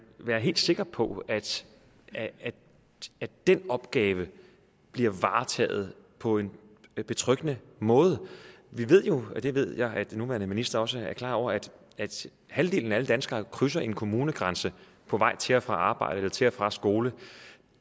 være helt sikker på at den opgave bliver varetaget på en betryggende måde vi ved jo det ved jeg at den nuværende minister også er klar over at halvdelen af alle danskere krydser en kommunegrænse på vej til og fra arbejde eller til og fra skole